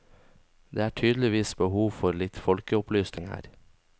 Det er tydeligvis behov for litt folkeopplysning her.